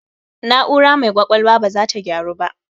Na'aura mai ƙwaƙwalwan baza ta gyaru ba